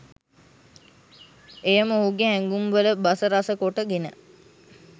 එය ම ඔහුගේ හැගුම්ල බස රස කොට ගෙන